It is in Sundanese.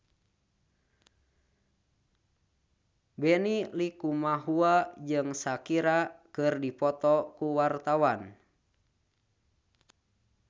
Benny Likumahua jeung Shakira keur dipoto ku wartawan